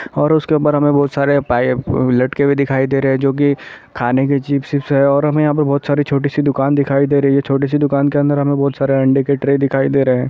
और उसके ऊपर हमें बहोत सारे पा ई अ लटके हुए दिखाई दे रही है जो कि खाने चिप्प विप्स है और हमें बहोत सारी छोटी सी दुकान दिखाई दे रही है छोटी सी दुकान के अंदर हमें बहोत सारे अंडे के ट्रे दिखाई दे रहे है।